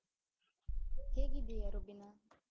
ಹೇಗಿದ್ದೀಯಾ ರುಬೀನಾ?